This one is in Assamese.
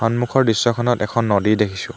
সন্মুখৰ দৃশ্যখনত এখন নদী দেখিছোঁ।